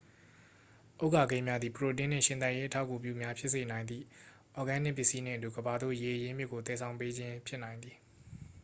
ဥက္ကာခဲများသည် ပရိုတင်းနှင့် ရှင်သန်ရေးအထောက်အကူပြုများဖြစ်စေနိုင်သည် အော်ဂဲနစ်ပစ္စည်းနှင့်အတူ ကမ္ဘာသို့ ရေအရင်းမြစ်ကို သယ်ဆောင်ပေးခြင်းဖြစ်နိုင်သည်